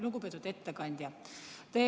Lugupeetud ettekandja!